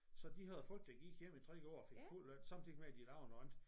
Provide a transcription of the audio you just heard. Så de havde folk der gik hjemme i 3 år og fik fuld løn samtidigt med de lavede noget andet